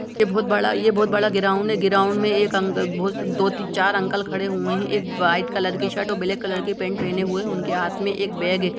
ये बहुत बड़ा ये बहुत बड़ा ग्राउंड है उनमें एक अंकल दो तीन चार अंकल खड़े हैं एक वाइट कलर की शर्ट और ब्लैक कलर की पैंट पहने हुए उनके हाथ में एक बैग हैं ।